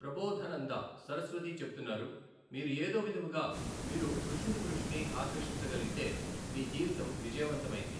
ప్రభొధనందా సరస్వతి చెపుతున్నారు మీరు ఏదో విధముగా మీరు కృష్ణుడి దృష్టిని ఆకర్షించగలిగితే మీ జీవితం విజయవంతమైంది.